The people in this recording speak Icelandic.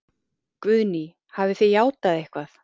Guðný: Hafið þið játað eitthvað?